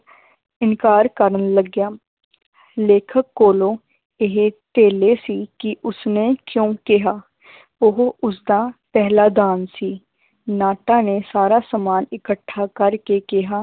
ਇਨਕਾਰ ਕਰਨ ਲੱਗਿਆ ਲੇਖਕ ਕੋਲੋਂ ਇਹ ਧੇਲੇ ਸੀ ਕਿ ਉਸਨੇ ਕਿਉਂ ਕਿਹਾ ਉਹ ਉਸਦਾ ਪਹਿਲਾਂ ਦਾਮ ਸੀ, ਨਾਟਾਂ ਨੇ ਸਾਰਾ ਸਮਾਨ ਇਕੱਠਾ ਕਰਕੇ ਕਿਹਾ